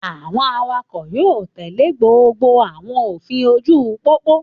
Àwọn awakọ̀ yóò tèlé gbogbo àwọn òfin ojú-pópó